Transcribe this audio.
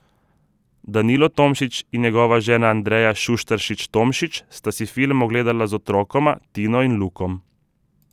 Danilo Tomšič in njegova žena Andreja Šuštaršič Tomšič sta si film ogledala z otrokoma, Tino in Lukom.